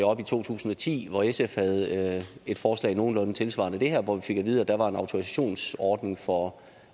oppe i to tusind og ti hvor sf havde et forslag nogenlunde tilsvarende det her hvor vi fik at vide at der var en autorisationsordning for